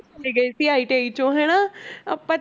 ਸੀ ITI ਚੋਂ ਹਨਾ ਆਪਾਂ